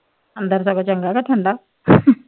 ਅੰਦਰ ਸਗੋਂ ਚੰਗਾ ਕ ਠੰਡਾ